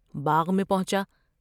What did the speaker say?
باغ میں پہنچا ۔